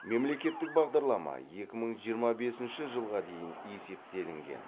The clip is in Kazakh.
мемлекеттік бағдарлама екі мың жиырма бесінші жылға дейін есептелінген